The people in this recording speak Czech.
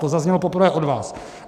To zaznělo poprvé od vás.